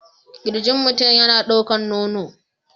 Kirjin mutum yana ɗaukar nono